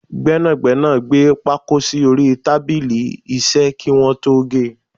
Gbẹ́nàgbẹ́nà gbé pákó sì orí tábìlì iṣẹ́ kí wọn tó ge.